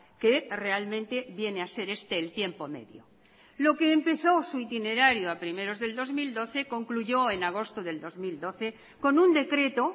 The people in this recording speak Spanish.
que realmente viene a ser este el tiempo medio lo que empezó su itinerario a primeros del dos mil doce concluyó en agosto del dos mil doce con un decreto